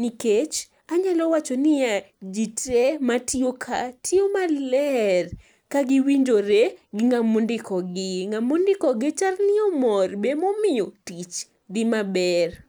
nikech anyalo wacho niya, ji te matiyo ka tiyo maler ka giwinjore gi ng'ama ondikogi. Ng'ama ondikogi chal ni omor be emomiyo tich dhi maber.